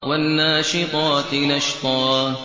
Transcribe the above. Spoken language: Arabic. وَالنَّاشِطَاتِ نَشْطًا